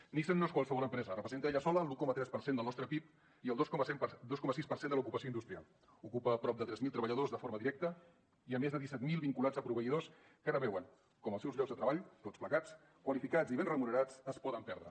nissan no és qualsevol empresa representa ella sola l’un coma tres per cent del nostre pib i el dos coma sis per cent de l’ocupació industrial ocupa prop de tres mil treballadors de forma directa i més de disset mil vinculats a proveïdors que ara veuen com els seus llocs de treball tots plegats qualificats i ben remunerats es poden perdre